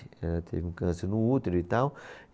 Ela teve um câncer no útero e tal.